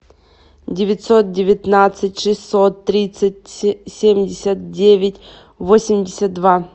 девятьсот девятнадцать шестьсот тридцать семьдесят девять восемьдесят два